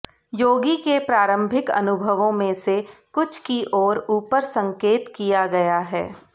योगी के प्रारंभिक अनुभवों में से कुछ की ओर ऊपर संकेत किया गया है